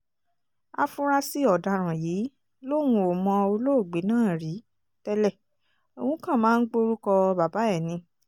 áfúrásì ọ̀daràn yìí lòun ò mọ olóògbé náà rí tẹ́lẹ̀ òun kàn máa ń gborúkọ bàbá ẹ̀ ni